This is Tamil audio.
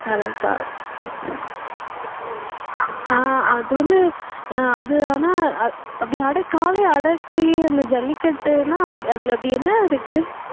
கலாச்சாரம் ஆஹ் அது வந்து ஆஹ் அது ஆனா ஆஹ் அப்படி அடக்~ காளையை அடக்கி அந்த ஜல்லிக்கட்டுன்னா அதுல அப்படி என்ன இருக்கு